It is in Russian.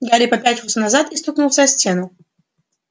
гарри попятился назад и стукнулся о стену